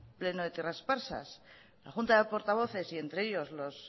plenos de esparsas la junta de portavoces y entre ellos